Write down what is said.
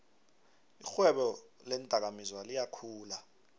irhwebo leendakamizwa liyakhula